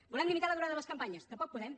volem limitar la durada de les campanyes tampoc podem